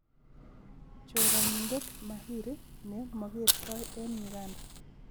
Choranindet mahiri ne magertoi eng Uganda.